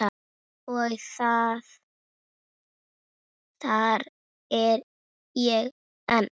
Og þarna er ég enn.